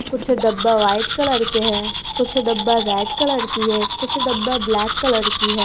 कुछ डब्बा white colour के हैं कुछ डब्बा रेड कलर की है कुछ डब्बा ब्लैक कलर की है।